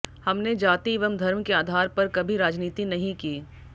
हमने जाति एवं धर्म के आधार पर कभी राजनीति नहीं की